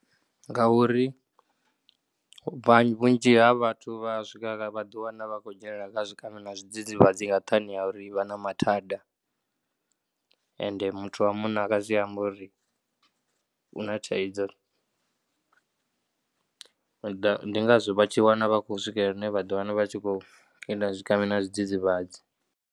Ngauri vhanzhi, vhunzhi ha vhathu vha swika vha ḓiwana vha khou dzhenelela kha zwikambi na zwidzidzivhadzi nga nṱhani ha uri vha na mathada ende muthu wa munna a nga si ambe uri u na thaidzo. Ndi ngazwo vha tshi wana vha khou swikelela hune vha ḓo ḓiwana vha tshi khou ita zwikambi na zwidzidzivhadzi.